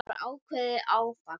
Það var ákveðið áfall.